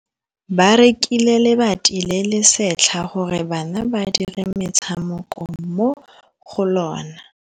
Ba rekile lebati le le setlha gore bana ba dire motshameko mo go lona.